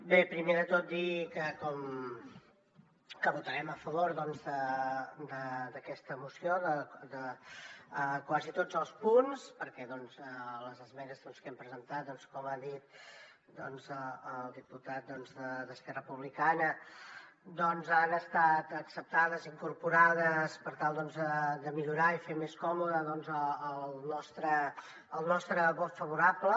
bé primer de tot dir que votarem a favor d’aquesta moció de quasi tots els punts perquè les esmenes que hem presentat com ha dit el diputat d’esquerra republicana doncs han estat acceptades i incorporades per tal de millorar i fer més còmode el nostre vot favorable